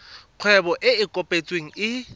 kgwebo e e kopetsweng e